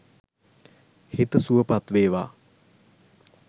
හිත සුවපත් වේවා